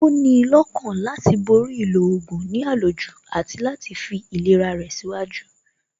Ó ní lọ́kàna láti borí ìlò oògùn ní àlòjù àti fi ìlera rẹ̀ síwájú